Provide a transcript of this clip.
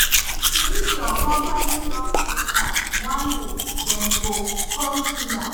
If your company no clear tax, one day dem go come seal am.